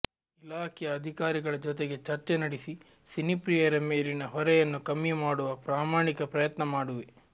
ಇಲಾಖೆಯ ಅಧಿಕಾರಿಗಳ ಜೊತೆಗೆ ಚರ್ಚೆ ನಡೆಸಿ ಸಿನಿಪ್ರಿಯರ ಮೇಲಿನ ಹೊರೆಯನ್ನು ಕಮ್ಮಿ ಮಾಡುವ ಪ್ರಾಮಾಣಿಕ ಪ್ರಯತ್ನ ಮಾಡುವೆ